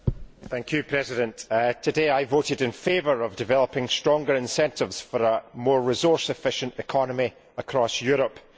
Madam President, today I voted in favour of developing stronger incentives for a more resource efficient economy across Europe.